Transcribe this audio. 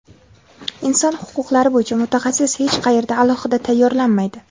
Inson huquqlari bo‘yicha mutaxassis hech qayerda alohida tayyorlanmaydi.